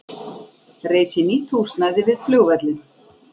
Reisi nýtt húsnæði við flugvöllinn